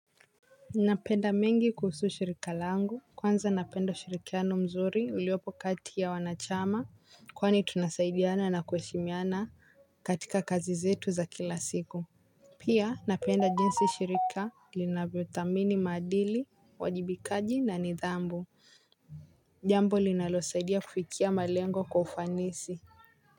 Napenda mengi kuhusu shirika langu kwanza napenda ushirikiano mzuri uliopo kati ya wanachama kwani tunasaidiana na kuheshmiana katika kazi zetu za kila siku. Pia napenda jinsi shirika linavyothamini maadili uwajibikaji na nidhamu jambo linalosaidia kufikia malengo kwa ufanisi.